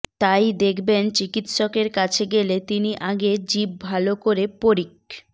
তাই দেখবেন চিকিৎসকের কাছে গেলে তিনি আগে জিভ ভালো করে পরীক্